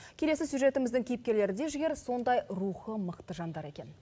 келесі сюжетіміздің кейіпкерлері де жігер сондай рухы мықты жандар екен